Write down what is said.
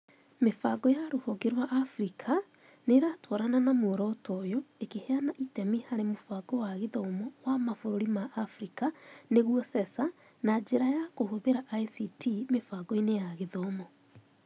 Mĩbango ya rũhonge rwa Africa nĩ ĩratwarana na muoroto ũyũ, ĩkĩheana itemi harĩ mũbango wa gĩthomo wa mabũrũri ma Africa (CESA) na njĩra ya kũhũthĩra ICT mĩbango-inĩ ya gĩthomo.